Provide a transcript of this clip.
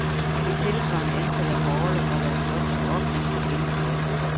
Et tilsvarende antal er på orlov fra deres jobs, som ofte ikke kan genbesættes.